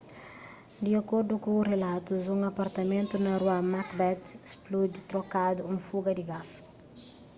di akordu ku rilatus un apartamentu na rua macbeth spludi trokadu un fuga di gás